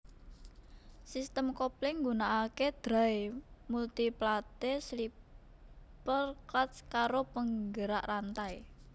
Sistem kopling nggunaake Dry multi plate slipper clutch karo penggerak rantai